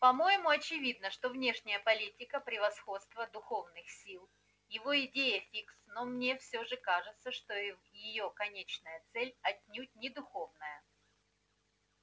по-моему очевидно что внешняя политика превосходства духовных сил его идея фикс но мне все же кажется что её конечная цель отнюдь не духовная